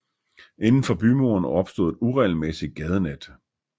Inden for bymuren opstod et uregelmæssigt gadenet